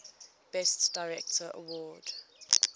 best director award